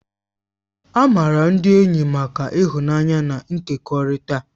A maara ndị enyi maka ịhụnanya na ịkekọrịta